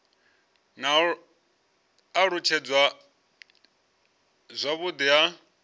na u alutshedzwa zwavhudi ha